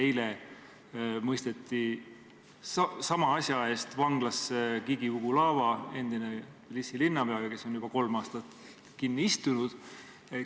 Eile mõisteti sama asja eest vanglasse Gigi Ugulava, endine Thbilisi linnapea, kes on juba kolm aastat kinni istunud.